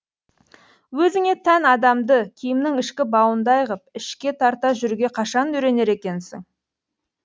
өзіңе тән адамды киімнің ішкі бауындай ғып ішке тарта жүруге қашан үйренер екенсің